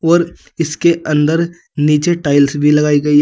और इसके अंदर नीचे टाइल्स भी लगाई गई है।